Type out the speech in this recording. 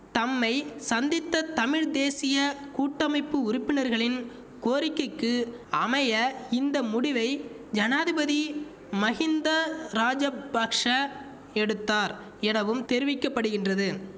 தம்மை சந்தித்த தமிழ் தேசிய கூட்டமைப்பு உறுப்பினர்களின் கோரிக்கைக்கு அமைய இந்த முடிவை ஜனாதிபதி மஹிந்த ராஜபக்ஷ எடுத்தார் எனவும் தெரிவிக்க படுகின்றது